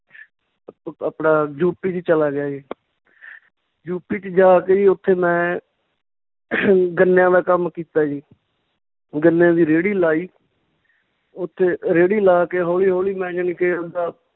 ਆਪਣਾ ਯੂਪੀ ਚ ਚੱਲਾ ਗਿਆ ਜੀ ਯੂਪੀ ਚ ਜਾ ਕੇ ਜੀ ਉੱਥੇ ਮੈਂ ਗੰਨਿਆਂ ਦਾ ਕੰਮ ਕੀਤਾ ਜੀ ਗੰਨਿਆਂ ਦੀ ਰੇਹੜੀ ਲਾਈ ਉੱਥੇ ਰੇਹੜੀ ਲਾ ਕੇ ਹੌਲੀ ਹੌਲੀ ਮੈਂ ਜਾਣੀ ਕਿ ਆਵਦਾ